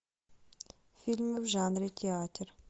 фильм в жанре театр